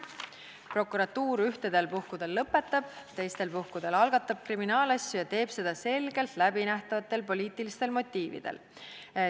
Prokuratuur ühtedel puhkudel lõpetab, teistel puhkudel algatab kriminaalasju ja teeb seda selgelt läbinähtavatel poliitilistel motiividel.